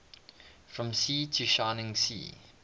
from sea to shining sea